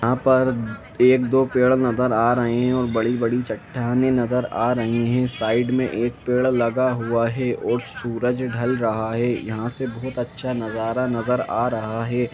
यहाँ पर एक दो पेड़ नज़र आरही है और बड़ी-बड़ी चट्टानें नज़र आरही है साइड में एक पेड़ लगा हुआ है और सूरज ढल रहा है यहाँ से बहुत अच्छा नज़ारा नज़र आ रहा है ।